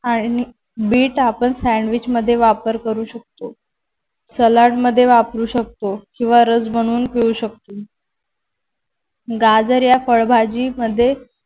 आणि बीट आपण सँडविच मध्ये वापर करू शकतो. सलाड मध्ये वापरू शकतो. किंवा रस बनवून ठेवू शकतो. गाजर या फळभाजी मध्ये